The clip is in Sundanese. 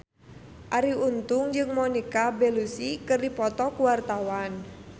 Arie Untung jeung Monica Belluci keur dipoto ku wartawan